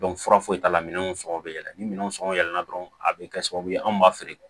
fura foyi t'a la minɛnw sɔngɔ bɛ yɛlɛ ni minɛnw sɔngɔ yɛlɛn dɔrɔn a bɛ kɛ sababu ye anw b'a feere